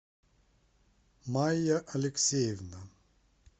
майя алексеевна